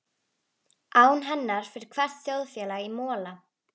Án hennar fer hvert þjóðfélag í mola.